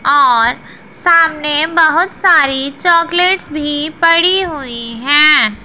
और सामने बहुत सारी चॉकलेट्स भी पड़ी हुई हैं।